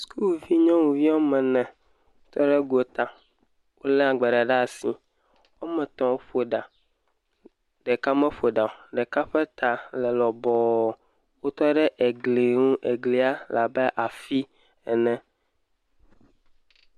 Skuulvi wo ame ene tɔ ɖe gota. Wolé agbalẽ ɖe asi. Wo ame etɔ̃ woƒo eɖa. Ɖeka meƒo ɖa o. Ɖeka ƒe ta le lɔbɔɔ. Wotɔ ɖe egli ŋu. Eglia le abe afii ene.